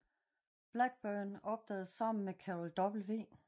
Blackburn opdagede sammen med Carol W